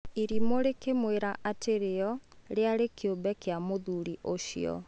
Irimũ rĩkĩmwĩra atĩ rĩo rĩarĩ kĩũmbe kĩa mũthuri ũcio.